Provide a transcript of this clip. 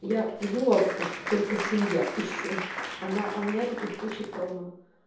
я придумала пока что только семья и все она а у меня таких штучек полно